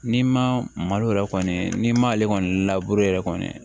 N'i ma malo yɛrɛ kɔni n'i ma ale kɔni yɛrɛ kɔni